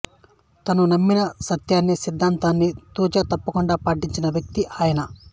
తాను నమ్మిన సత్యాన్ని సిద్దాంతాన్ని తూచ తప్పకుండా పాటించిన వ్యక్తి ఆయన